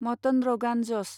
mutton रगान जस